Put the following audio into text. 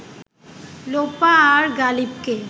লোপা আর গালিবকে